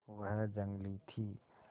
वह जंगली थी